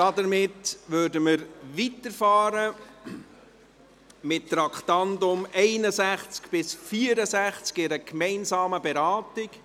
Damit fahren wir fort mit den Traktanden 61 bis 64, mit einer gemeinsamen Beratung.